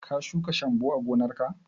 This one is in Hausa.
Ka shuka shambo a gonar ka?